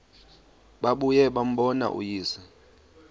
babuye bambone uyise